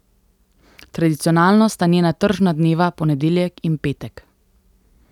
Tradicionalno sta njena tržna dneva ponedeljek in petek.